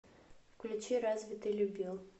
включи разве ты любил